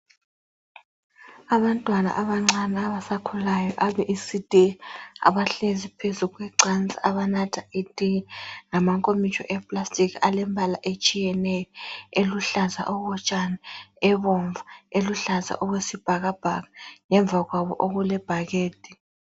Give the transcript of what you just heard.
Abantwana abancani abasakhulayo abe ecd abahlezi phezu kwecansi abanatha itiye ngamankomitsho awepulasitiki alombala etshiyeneyo eluhlaza lomhlotshana, ebomvu, eluhlaza okwesibhakabhaka ngemva kwabo okulebhakede.